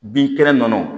Binkɛnɛ na